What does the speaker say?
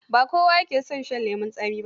Ba kowa yake son shan lemon tsami ba.